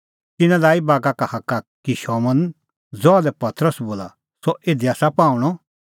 तिन्नैं लाई बागा का हाक्का कि शमौन ज़हा लै पतरस बोला सह इधी आसा पाहूंणअ